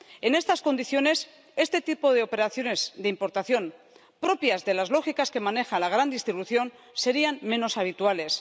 En estas condiciones, este tipo de operaciones de importación, propias de las lógicas que maneja la gran distribución, serían menos habituales.